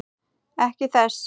Ekki þess.